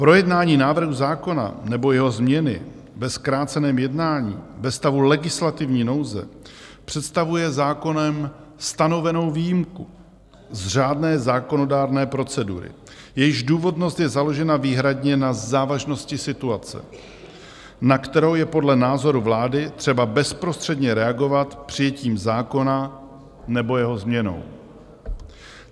Projednání návrhu zákona nebo jeho změny ve zkráceném jednání ve stavu legislativní nouze představuje zákonem stanovenou výjimku z řádné zákonodárné procedury, jejíž důvodnost je založena výhradně na závažnosti situace, na kterou je podle názoru vlády třeba bezprostředně reagovat přijetím zákona nebo jeho změnou.